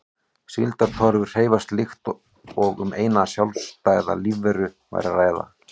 Síldartorfur hreyfast líkt og um eina sjálfstæða lífveru væri að ræða.